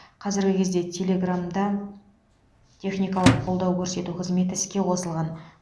қазіргі кезде телеграмда техникалық қолдау көрсету қызметі іске қосылған